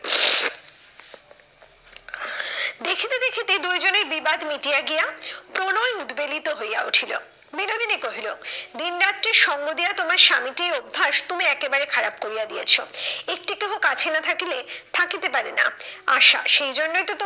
দেখিতে দেখিতে দুইজনের বিবাদ মিটিয়া গিয়া প্রণয় উদবেলিত হইয়া উঠিল। বিনোদিনী কহিল, দিন রাত্রি সঙ্গ দিয়া তোমার স্বামীটির অভ্যাস তুমি একেবারে খারাপ করিয়া দিয়াছো। একটি তবু কাঠিন্য থাকিলে থাকিতে পারে না। আশা, সেই জন্যই তো